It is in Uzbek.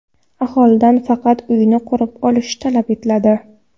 Aholidan faqat uyini qurib olish talab etiladi.